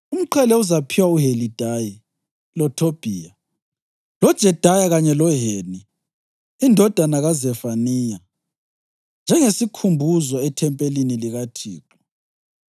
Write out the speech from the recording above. Umqhele uzaphiwa uHelidayi, loThobhiya, loJedaya kanye loHeni indodana kaZefaniya njengesikhumbuzo ethempelini likaThixo.